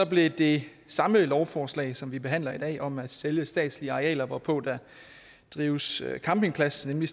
blev det samme lovforslag som vi behandler i dag om at sælge statslige arealer hvorpå der drives campingplads nemlig